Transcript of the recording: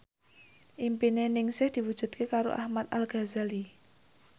impine Ningsih diwujudke karo Ahmad Al Ghazali